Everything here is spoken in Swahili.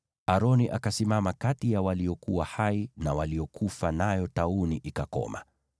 Aroni akasimama kati ya waliokuwa hai na waliokufa, nayo tauni ikakoma.